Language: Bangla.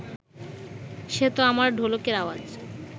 সে ত আমার ঢোলকের আওয়াজ